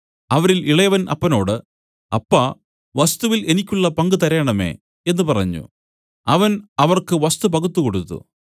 അവരിൽ ഇളയവൻ അപ്പനോട് അപ്പാ വസ്തുവിൽ എനിക്കുള്ള പങ്ക് തരേണമേ എന്നു പറഞ്ഞു അവൻ അവർക്ക് വസ്തു പകുത്തുകൊടുത്തു